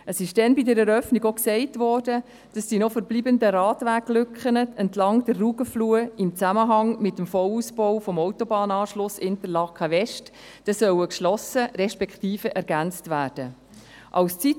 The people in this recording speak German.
Es wurde bei der Eröffnung gesagt, dass die noch verbleibenden Radweglücken entlang der Rugenfluh im Zusammenhang mit dem Vollausbau des Autobahnanschlusses Interlaken West geschlossen respektive ergänzt werden sollen.